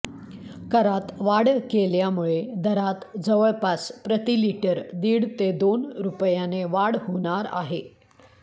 करात वाढ केल्यामुळे दरात जवळपास प्रतिलिटर दीड ते दोन रुपयाने वाढ होणार आहे